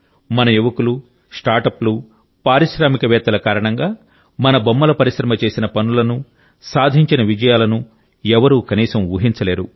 మన యువకులు స్టార్టప్లు పారిశ్రామికవేత్తల కారణంగా మన బొమ్మల పరిశ్రమ చేసిన పనులను సాధించిన విజయాలను ఎవరూ కనీసం ఊహించలేరు